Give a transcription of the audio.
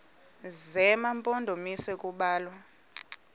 zema mpondomise kubalwa